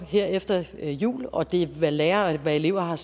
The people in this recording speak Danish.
her efter jul og det er til hvad lærere og elever har